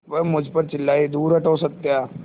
वह मुझ पर चिल्लाए दूर हटो सत्या